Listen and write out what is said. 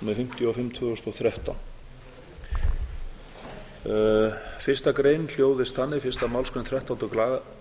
númer fimmtíu og fimm tvö þúsund og þrettán fyrsta grein fyrstu málsgreinar þrettándu greinar